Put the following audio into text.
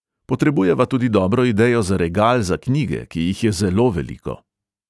Potrebujeva tudi dobro idejo za regal za knjige, ki jih je zelo veliko.